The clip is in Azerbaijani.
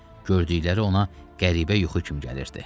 Gördükləri ona qəribə yuxu kimi gəlirdi.